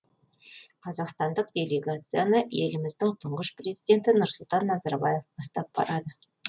қазақстандық делегацияны еліміздің тұңғыш президенті нұрсұлтан назарбаев бастап барады